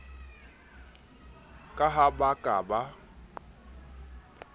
ka ha ba ka ba